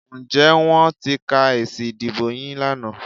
Ǹjẹ́ wọ́n ti ka èsì ìdìbò yín lánàá?